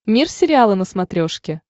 мир сериала на смотрешке